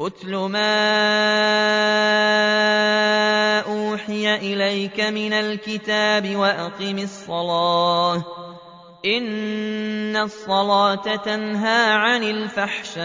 اتْلُ مَا أُوحِيَ إِلَيْكَ مِنَ الْكِتَابِ وَأَقِمِ الصَّلَاةَ ۖ إِنَّ الصَّلَاةَ تَنْهَىٰ عَنِ الْفَحْشَاءِ